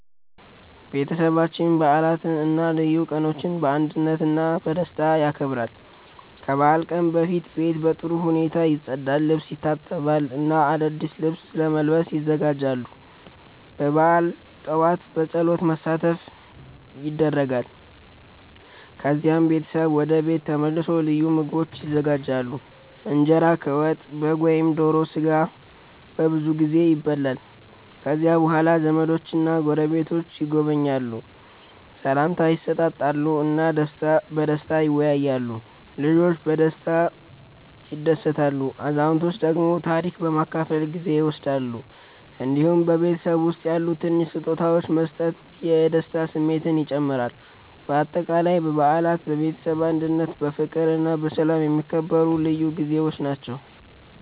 ቤተሰባችን በዓላትን እና ልዩ ቀኖችን በአንድነት እና በደስታ ያከብራል። ከበዓል ቀን በፊት ቤት በጥሩ ሁኔታ ይጸዳል፣ ልብስ ይታጠባል እና አዲስ ልብስ ለመልበስ ይዘጋጃሉ። በበዓል ጠዋት በጸሎት መሳተፍ ይደረጋል፣ ከዚያም ቤተሰብ ወደ ቤት ተመልሶ ልዩ ምግቦች ይዘጋጃሉ። እንጀራ ከወጥ፣ በግ ወይም ዶሮ ስጋ በብዙ ጊዜ ይበላል። ከዚያ በኋላ ዘመዶችና ጎረቤቶች ይጎበኛሉ፣ ሰላምታ ይሰጣሉ እና በደስታ ይወያያሉ። ልጆች በጨዋታ ይደሰታሉ፣ አዛውንቶች ደግሞ ታሪክ በመካፈል ጊዜ ይወስዳሉ። እንዲሁም በቤተሰብ ውስጥ ያሉ ትንሽ ስጦታዎች መስጠት የደስታ ስሜትን ይጨምራል። በአጠቃላይ በዓላት በቤተሰብ አንድነት፣ በፍቅር እና በሰላም የሚከበሩ ልዩ ጊዜዎች ናቸው።